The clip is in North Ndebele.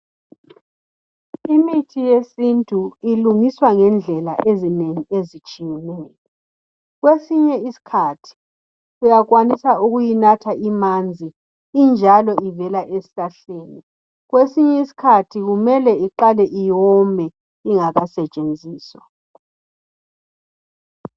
Imithi yesintu ilungiswa ngendlela ezinengi ezitshiyeneyo kwesinye isikhathi uyakwanisa ukuyinatha imanzi injalo ivele esihlahleni kwesinye isikhathi kumele iqale iwome ingakasetshenziswa